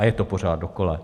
A je to pořád dokola.